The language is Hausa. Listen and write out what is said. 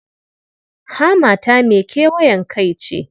Hammata mai kewayen kai ce.